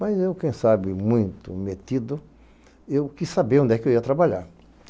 Mas eu, quem sabe muito metido, eu quis saber onde é que eu ia trabalhar.